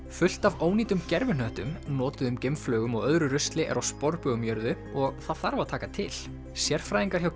fullt af ónýtum gervihnöttum notuðum geimflaugum og öðru rusli er á sporbaug um jörðu og það þarf að taka til sérfræðingar hjá